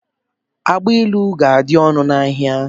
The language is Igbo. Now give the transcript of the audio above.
Agbailu ga-adị ọnụ n'ahia.